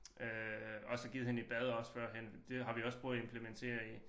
Øh og så givet hende et bad også førhen det har vi også prøvet at implementere i